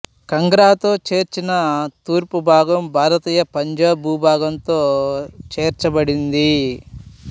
కంగ్రాతో చేర్చిన తూర్పు భాగం భారతీయ పంజాబ్ భూభాగంతో చేర్చబడింది